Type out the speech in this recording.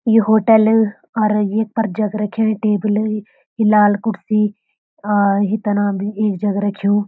यु hotel अर ये पर जग रख्युं ये टेबल ये लाल कुर्सी और ये तना भी एक जग रख्युं।